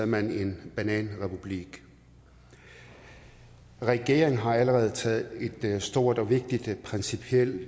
man en bananrepublik regeringen har allerede taget et stort og vigtigt og principielt